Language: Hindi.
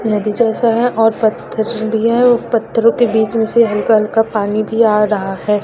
नदी जैसा है और पत्थर भी है और पत्थरों के बीच में से हल्का हल्का पानी भी आ रहा है।